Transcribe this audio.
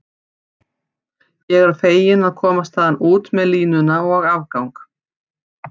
Ég var fegin að komast þaðan út með línuna og afgang